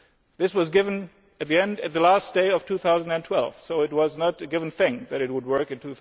This was given on the last day of 2012 so it was not a given thing that it would work in